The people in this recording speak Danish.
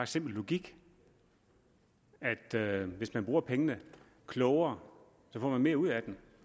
simpel logik at hvis man bruger pengene klogere får man mere ud af dem